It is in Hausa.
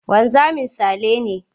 Wanzami Sale ne.